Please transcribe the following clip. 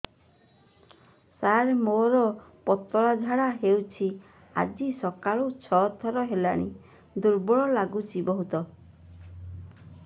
ସାର ମୋର ପତଳା ଝାଡା ହେଉଛି ଆଜି ସକାଳୁ ଛଅ ଥର ହେଲାଣି ଦୁର୍ବଳ ଲାଗୁଚି ବହୁତ